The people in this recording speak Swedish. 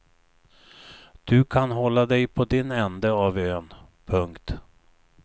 Du kan hålla dig på din ände av ön. punkt